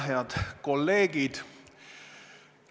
Head kolleegid!